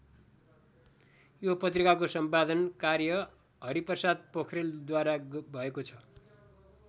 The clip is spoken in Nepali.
यो पत्रिकाको सम्पादन कार्य हरिप्रसाद पोख्रेलद्वारा भएको छ।